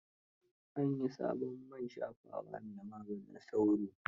An yi sabon man shafawa mai magaanin sauro.